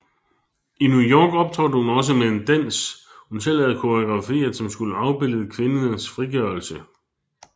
I New York optrådte hun også med en dansk hun selv havde koreograferet som skulle afbillede kvindes frigørelse